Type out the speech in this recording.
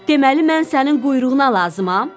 Deməli, mən sənin quyruğuna lazımam?